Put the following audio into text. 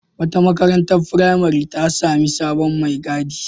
Wata marantar firamare ta sami sabon mai gadi.